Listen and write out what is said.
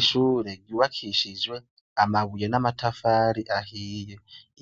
Ishure ryubakishijwe amabuye n'amatafari ahiye,